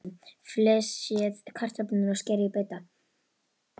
Flysjið kartöflurnar og skerið í bita.